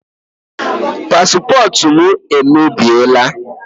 Paspọtụ m emebiela.